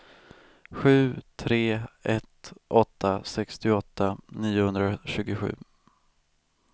sju tre ett åtta sextioåtta niohundratjugosju